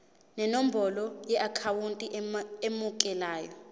nenombolo yeakhawunti emukelayo